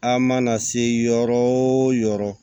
An mana se yɔrɔ o yɔrɔ